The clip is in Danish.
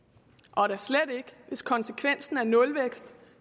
og da slet ikke hvis konsekvensen er nulvækst